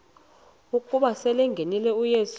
ukuba selengenile uyesu